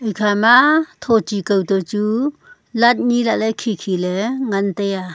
ekha ma tho chi kao toh chu light nyi lah ley khi khi ley ngan taiya.